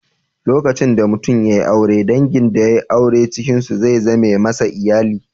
Lokacin da mutum ya yi aure, dangin da yai aure cikin su za su zame masa iyali.